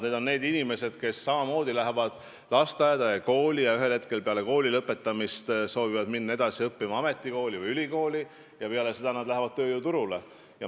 Need on need inimesed, kes lähevad lasteaeda ja kooli, kes peale kooli lõpetamist soovivad minna ametikooli või ülikooli edasi õppima ja kes peale seda lähevad tööjõuturule.